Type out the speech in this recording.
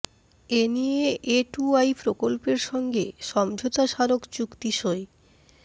এ নিয়ে এটুআই প্রকল্পের সঙ্গে সমঝোতা স্মারক চুক্তি সই